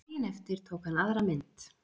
Daginn eftir tók hann aðra mynd